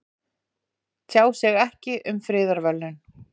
Tjá sig ekki um friðarverðlaun